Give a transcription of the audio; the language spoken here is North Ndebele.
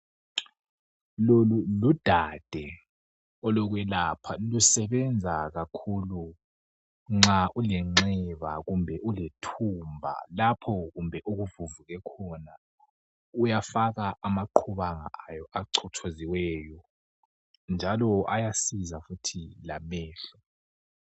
lolu ludade olokwelapha lusebenza kakhulu nxa ulenxeba kumbe ulethumba lapho kumbe okuvuvuke khona uyafaka amaqhubanga ayo achothoziweyo njalo ayasiza futhi lamehlo